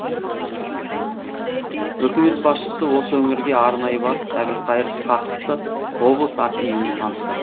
үкмет басшысы осы өңірге арнайы барып әбілқайыр сқақовты облыс активіне таныстырды